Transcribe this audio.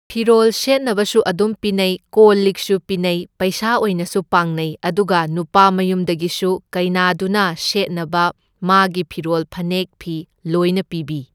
ꯐꯤꯔꯣꯜ ꯁꯦꯠꯅꯕꯁꯨ ꯑꯗꯨꯝ ꯄꯤꯅꯩ, ꯀꯣꯜ ꯂꯤꯛꯁꯨ ꯄꯤꯅꯩ, ꯄꯩꯁꯥ ꯑꯣꯏꯅꯁꯨ ꯄꯥꯡꯅꯩ, ꯑꯗꯨꯒ ꯅꯨꯄꯥ ꯃꯌꯨꯝꯗꯒꯤꯁꯨ ꯀꯩꯅꯥꯗꯨꯅ ꯁꯦꯠꯅꯕ ꯐꯤ ꯃꯥꯒꯤ ꯐꯤꯔꯣꯜ ꯐꯅꯦꯛ ꯐꯤ ꯂꯣꯢꯅ ꯄꯤꯕꯤ꯫